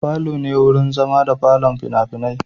Falo ne wurin zama da kallon fina-finai.